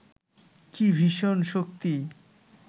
কি ভীষণ শক্তি